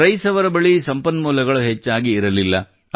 rice ಅವರ ಬಳಿ ಸಂಪನ್ಮೂಲಗಳು ಹೆಚ್ಚಾಗಿ ಇರಲಿಲ್ಲ